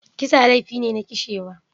Kisa laifi ne na kishewa.